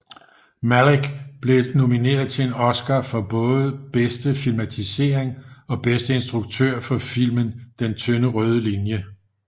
Malick blev nomineret til en Oscar for både bedste filmatisering og bedste instruktør for filmen Den tynde røde linje